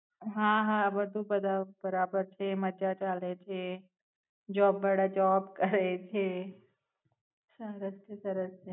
હા, હા. બધું પદાવ બરાબર છે. મજા ચાલે છે. જોબ વાળા જોબ કરે છે. સરસ છે સરસ.